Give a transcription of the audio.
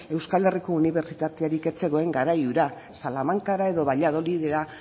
euskal herriko unibertsitaterik ez zegoen garai hura salamancara edo valladolidera